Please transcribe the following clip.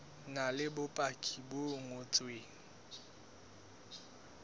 na le bopaki bo ngotsweng